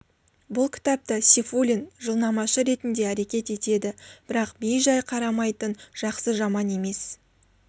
бұл кітапта сейфуллин жылнамашы ретінде әрекет етеді бірақ бей-жай қарамайтын жақсы жаман емес